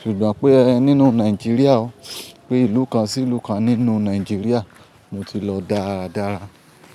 Ṣùgbọ́n pé nínú Nàìjíríà o, pé ìlú kan sí ìlú kan nínú Nàìjíríà mo ti lọ dáadáa.